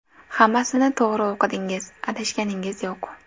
Hammasini to‘g‘ri o‘qidingiz, adashganingiz yo‘q!